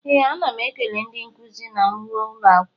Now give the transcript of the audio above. Ee, ana m ekele ndị nkuzi m na m ruo ụlọ akwụkwọ.